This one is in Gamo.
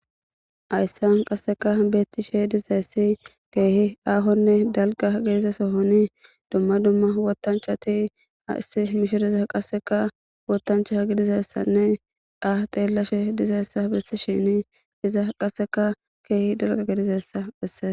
Hayssan qasseka beetti she dizayssi keehi aahonne dalga gediza sohoni dumma dumma wotanchati ha issi mishiriza qasseka wotancha gidizessanne ah xeellashe dizayessa bissi shini iza qasseka keehi dalga gedizessa phisse.